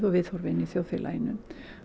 viðhorfin í samfélaginu